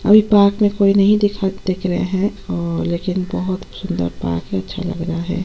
और पार्क में कोई नहीं दिख-- दिख रहे है और लेखिन बहुत सुन्दर सा पार्क अच्छा लग रहा है |